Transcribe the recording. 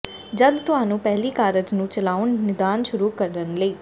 ਜਦ ਤੁਹਾਨੂੰ ਪਹਿਲੀ ਕਾਰਜ ਨੂੰ ਚਲਾਉਣ ਨਿਦਾਨ ਸ਼ੁਰੂ ਕਰਨ ਲਈ